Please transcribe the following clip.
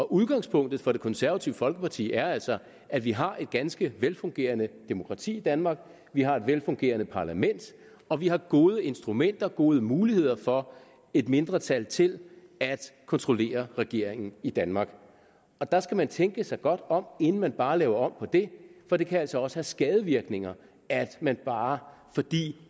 udgangspunktet for det konservative folkeparti er altså at vi har et ganske velfungerende demokrati i danmark vi har et velfungerende parlament og vi har gode instrumenter gode muligheder for et mindretal til at kontrollere regeringen i danmark og der skal man tænke sig godt om inden man bare laver om på det for det kan altså også have skadevirkninger at man bare fordi